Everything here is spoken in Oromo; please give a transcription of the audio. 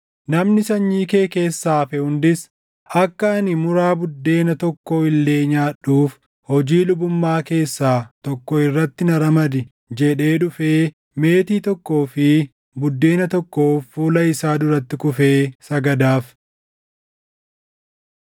Namni sanyii kee keessaa hafe hundis, “Akka ani muraa buddeena tokkoo illee nyaadhuuf hojii lubummaa keessaa tokko irratti na ramadi” jedhe dhufee meetii tokkoo fi buddeena tokkoof fuula isaa duratti kufee sagadaaf.’ ”